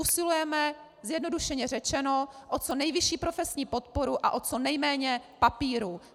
Usilujeme zjednodušeně řečeno o co nejvyšší profesní podporu a o co nejméně papírů.